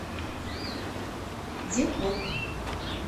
депок